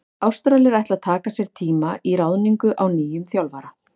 Ástralir ætla að taka sér tíma í ráðningu á nýjum þjálfara.